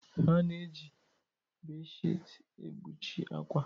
A na-eji bé-shịti ekpuchi akwa.